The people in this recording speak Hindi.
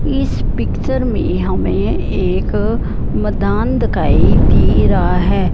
इस पिक्चर में हमें एक मदान दिखाई दे रहा है।